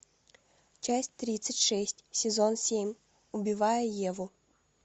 часть тридцать шесть сезон семь убивая еву